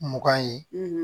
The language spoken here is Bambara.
Mugan ye